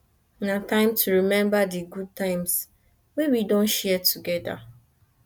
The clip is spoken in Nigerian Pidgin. na time to remember di good times wey we don share together